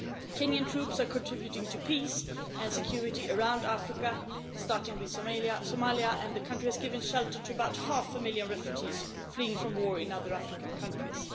Kenyan troops are contributing to peace and security around Africa, starting with Somalia, and the country has given shelter to about half a million refugees fleeing from war in other African countries.